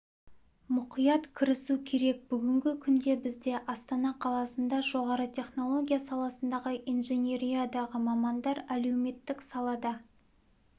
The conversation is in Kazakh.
мұқиат кірісу керек бүгінгі күнде бізде астана қаласында жоғары технология саласындағы инженериядағы мамандар әлеуметік салада